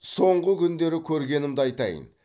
соңғы күндері көргенімді айтайын